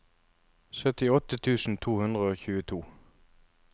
syttiåtte tusen to hundre og tjueto